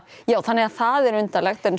já þannig að það er undarlegt en